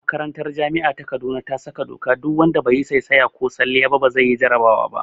Makarantar jami'a ta kaduna ta sa doka duk wanda be yi saisaya ba ko salliya ba zai yi jarabawa